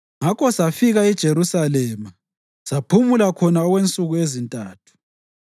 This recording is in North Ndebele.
Ngakho safika eJerusalema, saphumula khona okwensuku ezintathu.